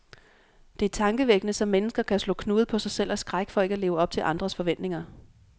Det er tankevækkende, som mennesker kan slå knude på sig selv af skræk for ikke at leve op til andres forventninger.